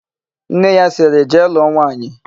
Nne ya sịrị, "jee lụọ nwaanyị"!